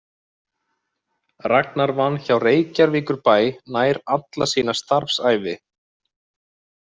Ragnar vann hjá Reykjavíkurbæ nær alla sína starfsævi.